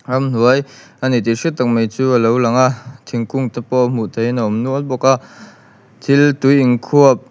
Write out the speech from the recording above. ramhnuai a ni tih hriat tak mai chu a lo lang a thingkung te pawh hmuh theihin a awm nual bawk a thil tui in khuap--